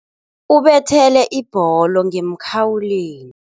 Ubethele ibholo ngemkhawulweni.